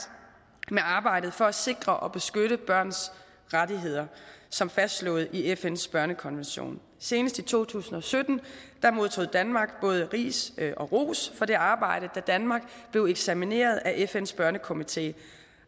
med arbejdet for at sikre og beskytte børns rettigheder som fastslået i fns børnekonvention senest i to tusind og sytten modtog danmark både ris og ros for det arbejde da danmark blev eksamineret af fns børnekomité